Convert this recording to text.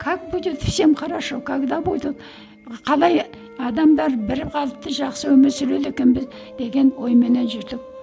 как будет всем хорошо когда будут қалай адамдар бірқалыпты жақсы өмір сүреді екенбіз деген ойменен жүрдік